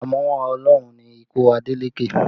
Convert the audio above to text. Àmúwá Ọlọ́run ni ikú Adeleke